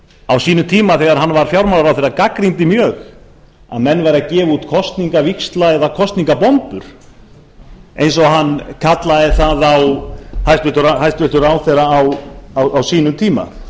á sínum tíma þegar hann var fjármálaráðherra gagnrýndi mjög að menn væru að gefa út kosningavíxla eða kosningabombu eins og hann kallaði það hæstvirtur ráðherra á sínum tíma